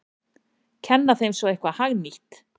Kenna þeim svo eitthvað hagnýtt!